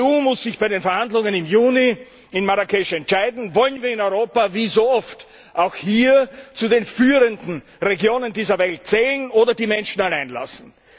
Die EU muss sich bei den Verhandlungen im Juni in Marrakesch entscheiden Wollen wir in Europa, wie so oft, auch hier zu den führenden Regionen dieser Welt zählen oder die Menschen allein lassen?